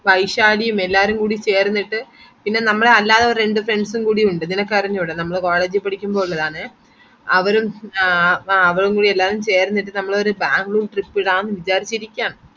വൈശാലിയും എല്ലാരുംകൂടിച്ചേർന്നിട്ട് പിന്നെ നമ്മുടെ അല്ലാതെ രണ്ട് friends ഉം കൂടിയുണ്ട് നിനക്കറിഞ്ഞൂടാ നമ്മള് college ഇൽ പഠിക്കുമ്പോ ഉള്ളതാണെ അവരും ആ അവരും കൂടി എല്ലാരും ചേര്ന്നിട്ട് ഒരു നമ്മള് ഒരു Bangalore trip ഇടാൻ വിചാരിച് ഇരിക്കണ്